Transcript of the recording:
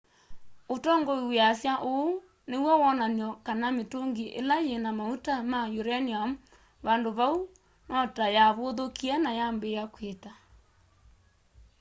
ũtongoi wĩasya ũũ nĩ wonany'o kana mĩtũngĩ ĩla yĩna maũta ma ũranĩũm vandũnĩ vau notayavũthũkie na yambĩĩa kwita